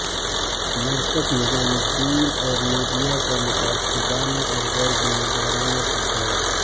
مرکز نظام الدین اور میڈیا کا متعصبانہ اور غیر ذمہ دارانہ کردار